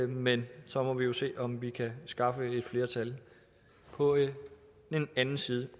men så må vi jo se om vi kan skaffe et flertal på den anden side